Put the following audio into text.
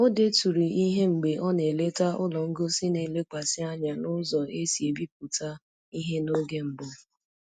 O deturu ihe mgbe ọ na-eleta ụlọ ngosi na-elekwasị anya n'ụzọ e si ebipụta ihe n'oge mbụ